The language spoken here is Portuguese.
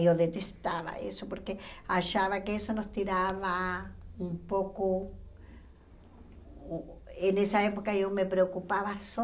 E eu detestava isso porque achava que isso nos tirava um pouco... E nessa época, eu me preocupava só...